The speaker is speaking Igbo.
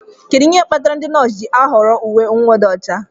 Kedu ihe kpatara ndị nọọsụ ji ahọrọ uwe mwụda ọcha?